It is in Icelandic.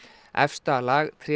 efsta lag